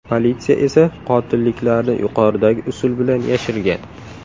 Politsiya esa qotilliklarni yuqoridagi usul bilan yashirgan.